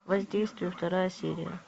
воздействие вторая серия